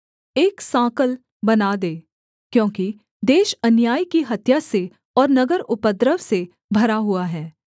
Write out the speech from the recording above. एक साँकल बना दे क्योंकि देश अन्याय की हत्या से और नगर उपद्रव से भरा हुआ है